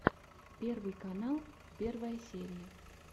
первый канал первая серия